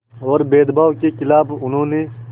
और भेदभाव के ख़िलाफ़ उन्होंने